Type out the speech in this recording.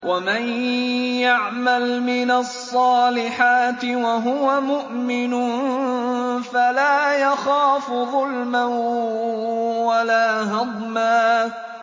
وَمَن يَعْمَلْ مِنَ الصَّالِحَاتِ وَهُوَ مُؤْمِنٌ فَلَا يَخَافُ ظُلْمًا وَلَا هَضْمًا